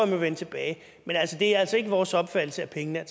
må vende tilbage men det er altså ikke vores opfattelse at pengene er